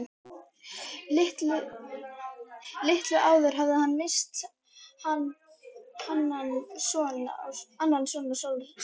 Litlu áður hafði hann misst annan son á sóttarsæng.